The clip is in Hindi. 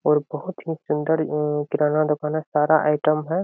और बहुत ही सुन्दर उम् किराना दुकान है। सारा आइटम है।